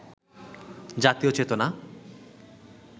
জাতীয় চেতনা